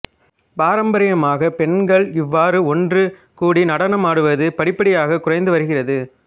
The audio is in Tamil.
பாரம்பரியமாக பெண்கள் இவ்வாறு ஒன்று கூடி நடனமாடுவது படிப்படியாகக் குறைந்து வருகிறது